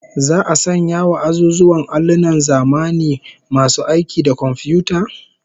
Za'a sanya wa azuzuwan allunan zamani masu aiki da komfiyuta?